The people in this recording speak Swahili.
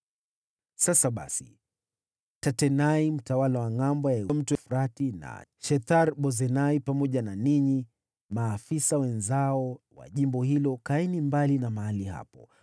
Sasa basi, Tatenai, mtawala wa Ngʼambo ya Mto Frati na Shethar-Bozenai pamoja na ninyi, maafisa wenzao wa jimbo hilo kaeni mbali na mahali hapo.